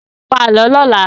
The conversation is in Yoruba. Pa Àlọ́ lọ́la!